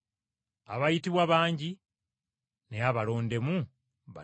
“Abayitibwa bangi, naye abalondemu batono.”